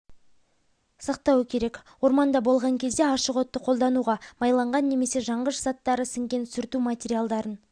сақтауы керек орманда болған кезде ашық отты қолдануға майланған немесе жанғыш заттары сіңген сүрту материалдарын